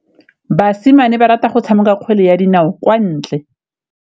Basimane ba rata go tshameka kgwele ya dinaô kwa ntle.